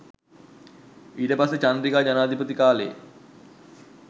ඊට පස්සේ චන්ද්‍රිකා ජනාධිපති කාලෙ